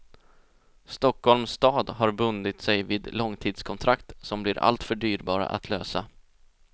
Stockholms stad har bundit sig vid långtidskontrakt som blir alltför dyrbara att lösa.